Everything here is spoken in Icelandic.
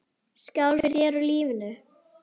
Skál fyrir þér og lífinu.